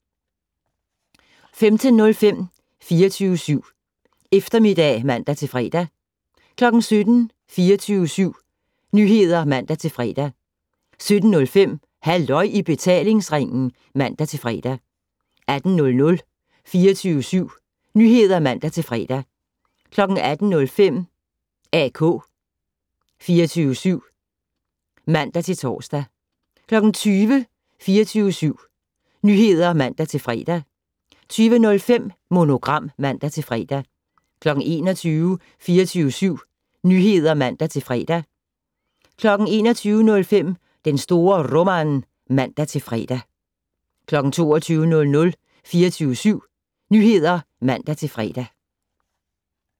15:05: 24syv Eftermiddag (man-fre) 17:00: 24syv Nyheder (man-fre) 17:05: Halløj i betalingsringen (man-fre) 18:00: 24syv Nyheder (man-fre) 18:05: AK 24syv (man-tor) 20:00: 24syv Nyheder (man-fre) 20:05: Monogram (man-fre) 21:00: 24syv Nyheder (man-fre) 21:05: Den store Roman (man-fre) 22:00: 24syv Nyheder (man-fre)